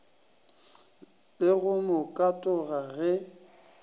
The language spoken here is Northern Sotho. le go mo katoga ge